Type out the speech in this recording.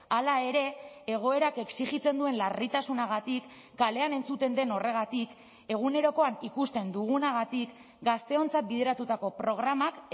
hala ere egoerak exijitzen duen larritasunagatik kalean entzuten den horregatik egunerokoan ikusten dugunagatik gazteontzat bideratutako programak